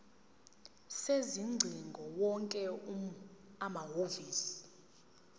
sezingcingo wonke amahhovisi